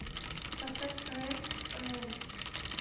поставь ремз р е м з